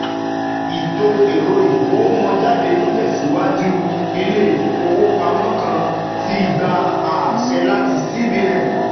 Ìtò ẹ̀rọ ìgowomójáde n tẹsiwaju, ilé-ifówopámọ́ kò tíì gbà àṣẹ láti CBN.